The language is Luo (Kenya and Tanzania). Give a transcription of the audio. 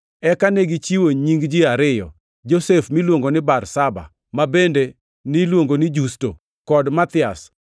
Eka negichiwo nying ji ariyo: Josef miluongo ni Barsaba (ma bende niluongo ni Justo) kod Mathias.